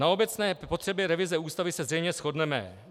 Na obecné potřebě revize Ústavy se zřejmě shodneme.